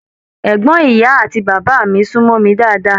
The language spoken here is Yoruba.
Ẹgbọn ìyá àti bàbá mí sunmọ mí dáadáa.